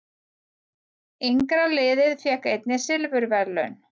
Yngra liðið fékk einnig silfurverðlaun